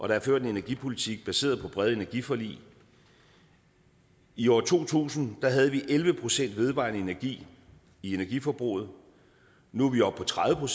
der er ført en energipolitik baseret på brede energiforlig i år to tusind havde vi elleve procent vedvarende energi i energiforbruget nu er vi oppe på tredive